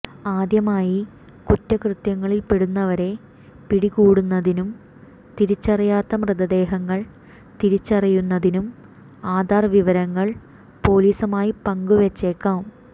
ആദ്യമായി കുറ്റകൃത്യങ്ങളിൽപ്പെടുന്നവരെ പിടികൂടുന്നതിനും തിരിച്ചറിയാത്ത മൃതദേഹങ്ങൾ തിരിച്ചറിയുന്നതിനും ആധാർ വിവരങ്ങൾ പോലീസുമായി പങ്കുവെച്ചേക്കും